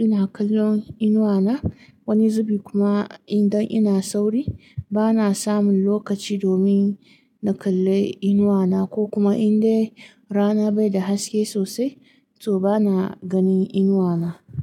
ina kallon inuwana, wani zubi kuma idan ina sauri bana samun lokaci domin na kalli inuwana, ko kuma indai rana bai da haske sosai, to bana ganin inuwana.